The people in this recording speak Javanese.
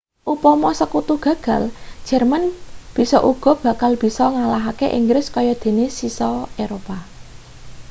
upama sekutu gagal jerman bisa uga bakal bisa ngalahake inggris kaya dene sisa eropa